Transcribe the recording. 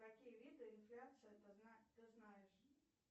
какие виды инфляции ты знаешь